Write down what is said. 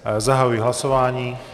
Zahajuji hlasování.